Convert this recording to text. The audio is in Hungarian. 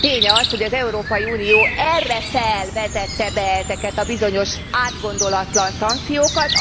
Tény az, hogy az Európai Unió erre fel vetette be ezeket a bizonyos átgondolatlan szankciókat.